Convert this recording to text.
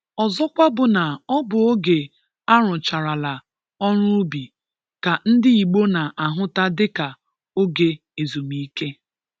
Ọzọkwa bụ na ọ bụ oge arụcharala ọrụ ubi ka ndị Igbo na-ahụta dịka oge ezumike.